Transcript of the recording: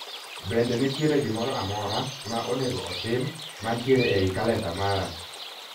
Bende nitiere gimoro amora ma onego otim mantiere ei kalenda mara